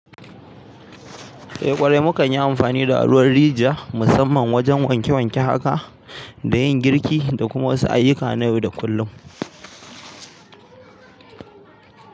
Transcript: Eh ƙwarai, mukan yi amfani da ruwan rijiya musamman wajen wanke wanke haka da yin girki da kuma wasu ayyuka na yau da kullum.